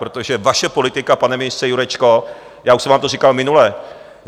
Protože vaše politika, pane ministře Jurečko, já už jsem vám to říkal minule...